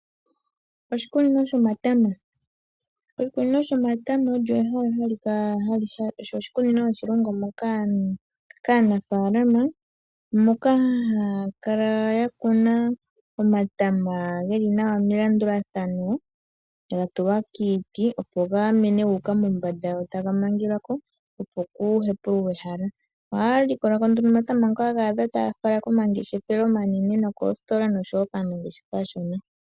Oshikunino shomatama. Oshikunino shomatama osho oshikunino hashi longwa kaanafaalama moka haya kala ya kuna omatama geli nawa melandulathano ga tulwa kiiti opo ga mene gu uka mombanda go taga mangelwako opo ku hepululwe ehala . Ohaya likolako nduno omatama ngoka taya fala komangeshefelo omanene nookositola oshowo kaanangeshefa aashona.